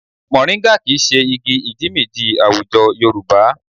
Mọ̀ríńgà kì í ṣe igi ìjímìjí àwùjọ Yorùbá